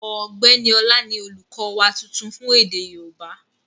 Ọ̀gbẹ́ni Ọlá ni olùkọ́ wa tuntun fún èdè yóòbá